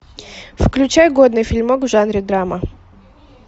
включай годный фильмок в жанре драма